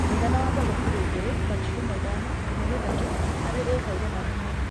mũigana wa mbegũ kiro igĩrĩ gaturumo ithano nginyagia ithatũ harĩ ĩka igana rĩmwe